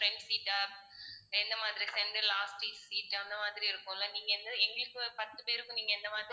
front seat ஆ எந்த மாதிரி center last seat அந்த மாதிரி இருக்கும்ல நீங்க எந்த எங்க எங்களுக்கு பத்து பேருக்கும் நீங்க எந்த மாதிரி